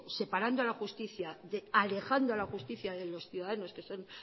alejando a la justicia de los ciudadanos que son